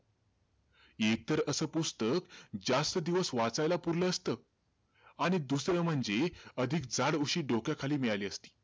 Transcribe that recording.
एकतर असं पुस्तक जास्त दिवस वाचायला पुरलं असतं. आणि दुसरं म्हणजे अधिक जाड उशी डोक्याखाली मिळाली असती.